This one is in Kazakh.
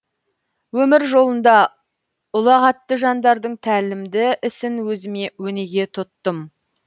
өмір жолында ұлғатты жандардың тәлімді ісін өзіме өнеге тұттым